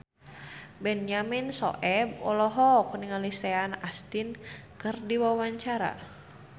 Benyamin Sueb olohok ningali Sean Astin keur diwawancara